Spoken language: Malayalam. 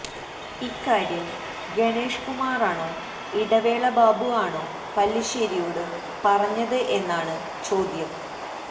ഇക്കാര്യം ഗണേഷ് കുമാറാണോ ഇടവേള ബാബു ആണോ പല്ലിശ്ശേരിയോട് പറഞ്ഞത് എന്നാണ് ചോദ്യം